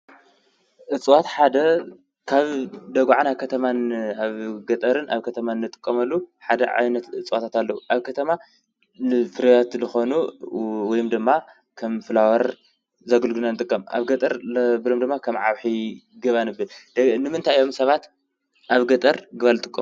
እፅዋት ሓደ ካብ ደጉዓ ናብ ከተማን ኣብ ገጠርን ኣብ ከተማን እንጥቀመሉ ሓደ ዓይነት እፅዋታት ኣለው። ኣብ ከተማ ንፍርያት ዝኾኑ ወይ ድማ ከም ፍላወር ዘገልግሉ ኢና እንጥቀም። ኣብ ገጠር ድማ ከም ዓኺ፣ ገባን ኢና እንጥቀም። ንምንታይ እዮም ሰባት ኣብ ገጠር ገባ ዝጥቀሙ?